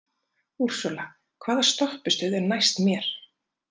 Ursula, hvaða stoppistöð er næst mér?